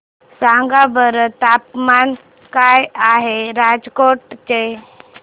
सांगा बरं तापमान काय आहे राजकोट चे